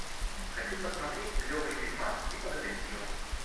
хочу посмотреть клевый фильмас типа детектива